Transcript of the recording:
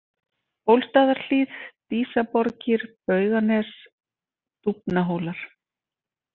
Bólstaðarhlíð, Dísaborgir, Bauganes, Dúfnahólar